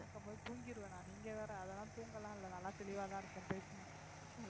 இருக்கும்போது தூங்கிருவேனா நீங்க வேற அதெல்லாம் தூங்கலாம் இல்லை நல்லா தெளிவாதான் இருக்கேன் பேசுங்க